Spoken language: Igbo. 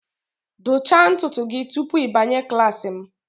dụchaa ntutu gị tupu ị banye klas m